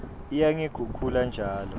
iya ngekukhula njalo